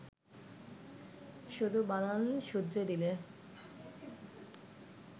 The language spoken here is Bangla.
শুধু বানান শুধরে দিলে